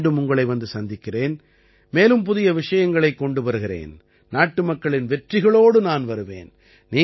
மீண்டும் உங்களை வந்து சந்திக்கிறேன் மேலும் புதிய விஷயங்களைக் கொண்டு வருகிறேன் நாட்டுமக்களின் வெற்றிகளோடு நான் வருவேன்